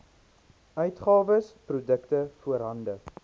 uitgawes produkte voorhande